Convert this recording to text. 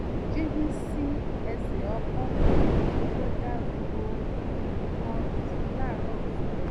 jíjí sí ẹsẹ̀ ọkọ̀ jíjò da gbogbo nǹkan rú láàárọ̀ fún mi